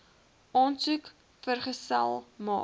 aansoek vergesel maak